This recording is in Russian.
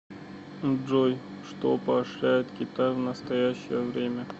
джой что поощряет китай в настоящее время